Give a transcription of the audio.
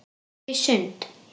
Farðu í sund.